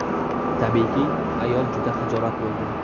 Tabiiyki, ayol juda xijolat bo‘ldi.